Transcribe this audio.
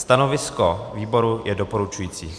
Stanovisko výboru je doporučující.